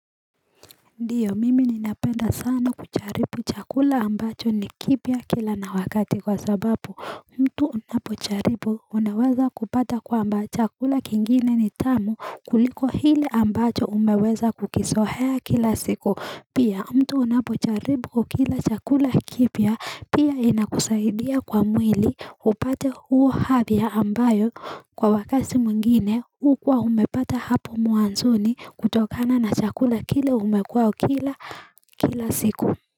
Ndiyo mimi ninapenda sana kucharibu chakula ambacho ni kipya kila na wakati kwa sababu mtu unapocharibu unaweza kupata kwamba chakula kingine ni tamu kuliko hili ambacho umeweza kukisohea kila siku Pia mtu unapocharibu kukila chakula kipia pia inakusaidia kwa mwili upate huo hathia ambayo kwa wakasi mngine ukwa umepata hapo mwanzoni kutokana na chakula kile umekuwa ukila kila siku.